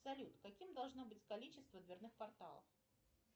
салют каким должно быть количество дверных порталов